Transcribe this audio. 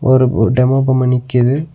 ஒரு ஒரு டெமோ பொம்ம நிக்கிது.